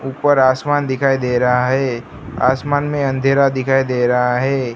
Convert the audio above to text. ऊपर आसमान दिखाई दे रहा है आसमान में अंधेरा दिखाई दे रहा है।